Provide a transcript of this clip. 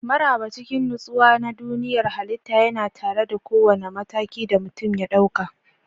Maraba cikin nutsuwa na duniyar halitta yana tare da kowane mataki da mutum ya ɗauka.